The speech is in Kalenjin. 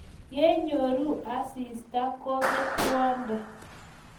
yechoru asista kobet rewonde